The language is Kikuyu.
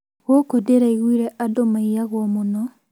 Gũkũ ndĩraigure andũ maiyagwo mũno?